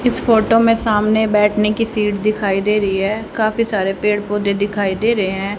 इस फोटो में सामने बैठने की सीट दिखाई दे रही है काफी सारे पेड़ पौधे दिखाई दे रहे हैं।